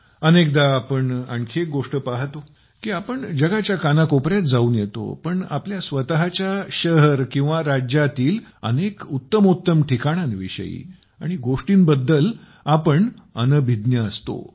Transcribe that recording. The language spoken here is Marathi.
अनेकदा आपण आणखी एक गोष्ट पाहतो की आपण जगाच्या कानाकोपऱ्यात जाऊन येतो पण आपल्या स्वतःच्या शहर किंवा राज्यातील अनेक उत्तमोत्तम ठिकाणांविषयी आणि गोष्टींबद्दल आपण अनभिज्ञ असतो